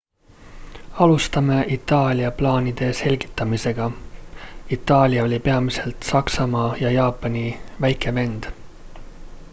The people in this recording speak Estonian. alustame itaalia plaanide selgitamisega itaalia oli peamiselt saksamaa ja jaapani väike vend